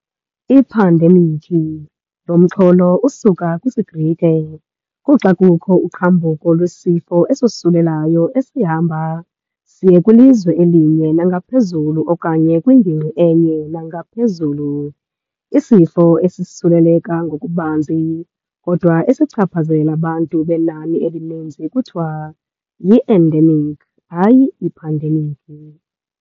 Iphandemikhi, lo mxholo usuka kwisiGrike, kuxa kukho uqhambuko lwesifo esosulelayo "esihamba" siye kwilizwe elinye nangaphezulu okanye kwingingqi enye nangaphezulu. Isifo esisuleleka ngokubanzi kodwa esichaphazela abantu benani elininzi kuthiwa "yi-endemikhi", hayi iphandemikhi.